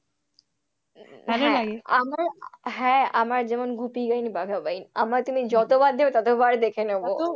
হ্যাঁ আমার যেমন গুপি গাইন বাঘা বাইন আমার তুমি যতবার দেবে ততবারই দেখে নেব।